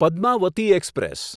Padmavati express